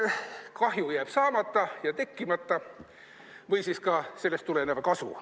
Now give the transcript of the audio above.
Kahju jääb saamata ja tekkimata, või siis ka sellest tulenev kasu.